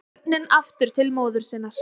Börnin aftur til móður sinnar